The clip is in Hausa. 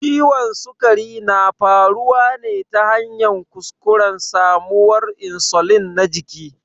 Ciwon sukari na faruwa ne ta hanyar kuskuren samawar insulin na jiki.